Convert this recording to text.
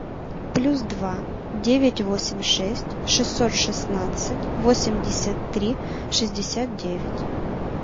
плюс два девять восемь шесть шестьсот шестнадцать восемьдесят три шестьдесят девять